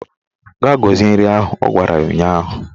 Gaa gozie nri ahụ! Ọ gwara ya ụnyaahụ